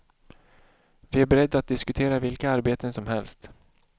Vi är beredda att diskutera vilka arbeten som helst.